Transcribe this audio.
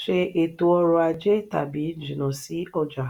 ṣe ètò orò-ajé tàbí jìnnà sí ọjà?